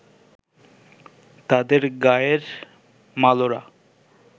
তাদের গাঁয়ের মালোরা